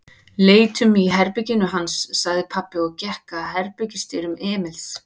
Leitum í herberginu hans, sagði pabbi og gekk að herbergisdyrum Emils.